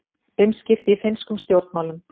Umskipti í finnskum stjórnmálum